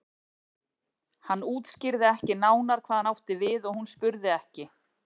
Hann útskýrði ekki nánar hvað hann átti við og hún spurði ekki.